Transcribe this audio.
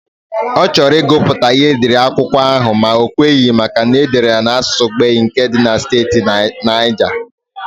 Ọ chọrọ ịgụ pụta ịhe edere akwụkwọ ahụ ma o kweghị maka na edere ya n'asụsụ Gbagyi nke dị na steeti Naija.